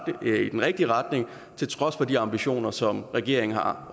i den rigtige retning til trods for de ambitioner som regeringen har